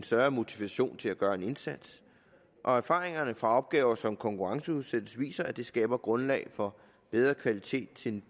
større motivation til at gøre en indsats og erfaringerne fra opgaver som konkurrenceudsættes viser at det skaber grundlag for bedre kvalitet til